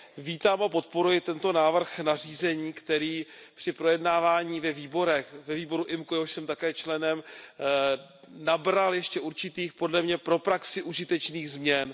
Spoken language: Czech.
Vítám a podporuji tento návrh nařízení, který při projednávání ve výborech, ve výboru IMCO, jehož jsem také členem, nabral ještě určitých podle mě pro praxi užitečných změn.